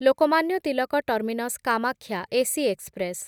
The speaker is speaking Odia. Lokmanya Tilak terminus Kamakhya AC express